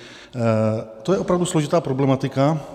To je opravdu složitá problematika.